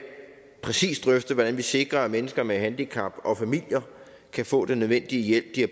præcist drøfte hvordan vi sikrer at mennesker med handicap og familier kan få den nødvendige hjælp de